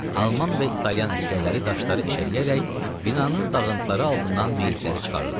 Alman və İtalyan əsgərləri daşları eşələyərək binanın dağıntıları altından meyitləri çıxarırdılar.